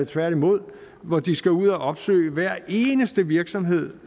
tværtimod når de skal ud og opsøge hver eneste virksomhed